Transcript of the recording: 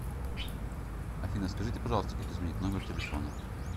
афина скажите пожалуйста как изменить номер телефона